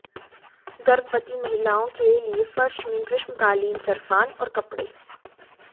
गर्भवती महिलाओं के लिए फर्श में ग्रीष्मकालीन सरफान और कपड़े